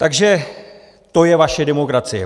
Takže to je vaše demokracie.